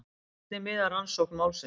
Hvernig miðar rannsókn málsins?